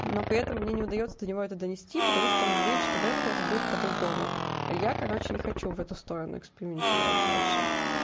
но при этом мне не удаётся до него это донести потому что он говорит что в этот раз будет по-другому я короче не хочу в эту сторону экспериментировать дальше